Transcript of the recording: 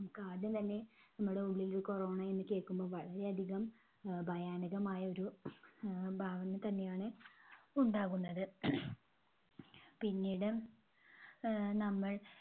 നമുക്കാദ്യം തന്നെ നമ്മുടെയുള്ളിൽ ഒരു corona എന്ന് കേൾക്കുമ്പോൾ വളരെ അധികം അഹ് ഭയാനകമായ ഒരു ആഹ് ഭാവന തന്നെയാണ് ഉണ്ടാകുന്നത്. പിന്നീട് ആഹ് നമ്മൾ